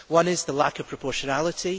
One is the lack of proportionality.